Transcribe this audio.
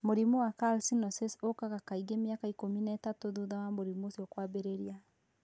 Mũrimũ wa calcinosis ũkaga kaingĩ mĩaka ikũmi na ĩtatũ thutha wa mũrimũ ũcio kwambĩrĩria.